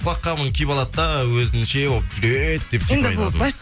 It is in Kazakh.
құлаққабын киіп алады да өзінше болып жүреді деп сөйтіп айтатын